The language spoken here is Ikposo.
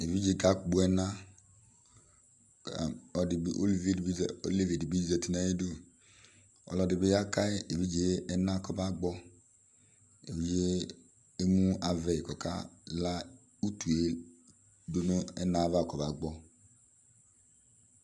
Evidze kakpɔ ɛna Olevi dɩ bɩ zǝtɩ nʋ ayʋ ɩdʋ Ɔlɔdɩ bɩ yaka evidze yɛ ɛna kɔba gbɔ Evidze yɛ emu avɛyɩ kʋ ɔkala utu yɛ dʋ nʋ ɛna yɛ ava kɔba gbɔ